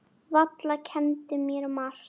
Valla kenndi mér margt.